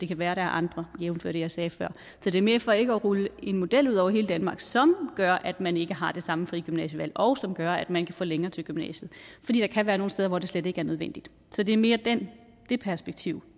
kan være at der er andre jævnfør det jeg sagde før så det er mere for ikke at rulle en model ud over hele danmark som gør at man ikke har det samme frie gymnasievalg og som gør at man kan få længere til gymnasiet fordi der kan være nogle steder hvor det slet ikke er nødvendigt så det er mere det perspektiv